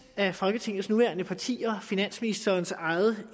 af folketingets nuværende partier finansministerens eget